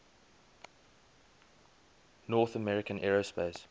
north american aerospace